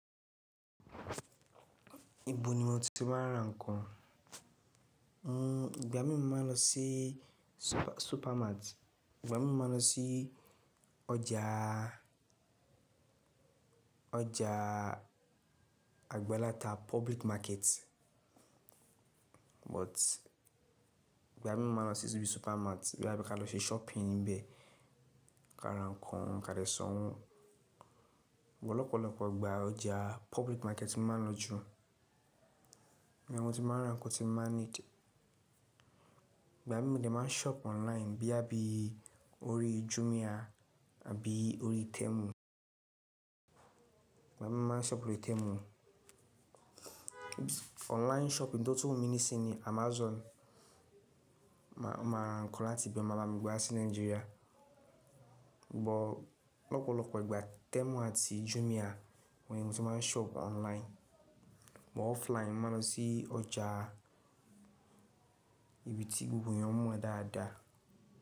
Ibo ni mo ti máa ń ra nǹkan? Ìgbà míì mo máa ń lọ sí supermart, ìgbà míì mo máa ń lọ sí ọjà, ọjà agbaláta public market. But ìgbà míì mo máa ń lọ síbi supermart bóyá ká lọ ṣe shopping níbẹ̀ ká ra nǹkan ka dẹ̀ sanwọ́. But lọ́pọ̀lọpọ̀ ìgbà, ọjà public market ni mo máa ń lọ jù. Ibẹ̀ ni mo ti máa ń ra nǹkan tí n bá need. Ìgbà míì mo dẹ̀ máa ń shop online bóyá bí orí Jumia àbí orí Temu. Ìgbà míì mo máa ń shop lórí Temu. Online shopping tó tún wù mi nísìnyí ni Amazon, ma máa ra nǹkan láti ibẹ̀ wọ́n máa bá mi gbé wá sí Nigeria. But lọ́pọ̀lọ́pọ̀ ìgbà Temu àti Jumia òun ni mo ti máa ń shop online. But offline mo máa ń lọ sí ọjà ibi tí gbogbo èèyàn mọ̀ dáadáa.